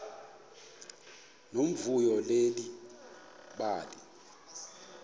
nomvuyo leli bali